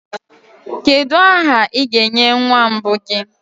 kedu aha ị ga-enye nwa mbụ gị